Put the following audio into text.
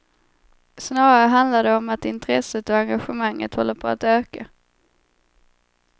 Snarare handlar det om att intresset och engagemanget håller på att öka.